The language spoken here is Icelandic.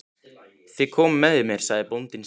Þið komið með mér, sagði bóndinn stillilega.